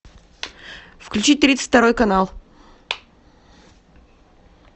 включить тридцать второй канал